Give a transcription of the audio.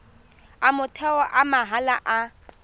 a motheo a mahala a